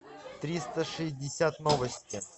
триста шестьдесят новости